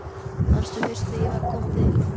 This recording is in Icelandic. Manstu fyrst þegar ég var að koma til þín?